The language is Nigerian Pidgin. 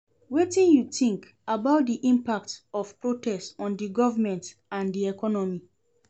Wetin you think about di impact of protest on di government and di economy?